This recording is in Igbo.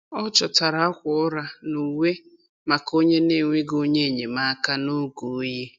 Ọ chọtara akwa ụra na uwe maka onye na-enweghị onye enyemaka noge oyi.